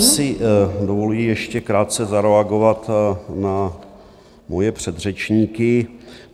Já si dovoluji ještě krátce zareagovat na svoje předřečníky.